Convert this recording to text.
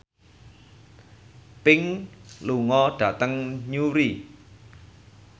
Pink lunga dhateng Newry